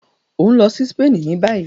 O n lọ sí Spain ní bayi